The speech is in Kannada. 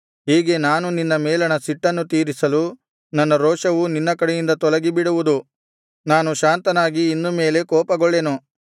ಹೀಗೆ ನಾನು ನಿನ್ನ ಮೇಲಣ ಸಿಟ್ಟನ್ನು ತೀರಿಸಲು ನನ್ನ ರೋಷವು ನಿನ್ನ ಕಡೆಯಿಂದ ತೊಲಗಿ ಬಿಡುವುದು ನಾನು ಶಾಂತನಾಗಿ ಇನ್ನು ಮೇಲೆ ಕೋಪಗೊಳ್ಳೆನು